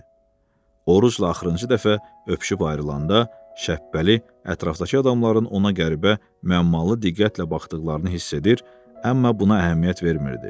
Orucla axırıncı dəfə öpüşüb ayrılanda, Şəppəli ətrafdakı adamların ona qəribə müəmmalı diqqətlə baxdıqlarını hiss edir, amma buna əhəmiyyət vermirdi.